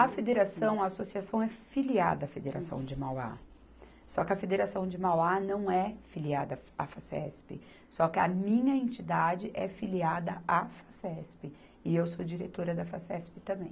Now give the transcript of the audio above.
A federação, a associação é filiada à Federação de Mauá, só que a Federação de Mauá não é filiada à Facesp, só que a minha entidade é filiada à Facesp e eu sou diretora da Facesp também.